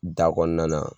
Da kɔnɔna na